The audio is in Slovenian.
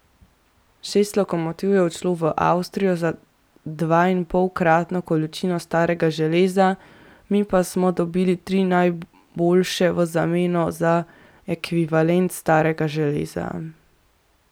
Šest lokomotiv je odšlo v Avstrijo za dvainpolkratno količino starega železa, mi pa smo dobili tri najboljše v zameno za ekvivalent starega železa.